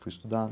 Fui estudar.